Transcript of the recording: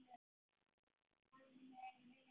Mannleg vinna